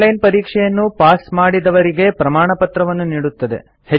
online ಪರೀಕ್ಷೆಯನ್ನು pass ಮಾಡಿದವರಿಗೆ ಪ್ರಮಾಣಪತ್ರವನ್ನು ನೀಡುತ್ತದೆ